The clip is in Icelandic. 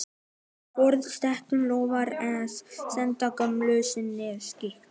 Forsetinn lofar að senda gömlu konunni skeyti.